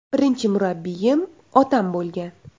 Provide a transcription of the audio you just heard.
Birinchi murabbiyim otam bo‘lgan.